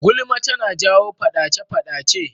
Gulma tana jawo faɗace-faɗace.